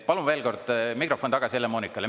Palun veel kord mikrofon tagasi Helle-Moonikale.